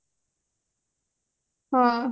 ହଁ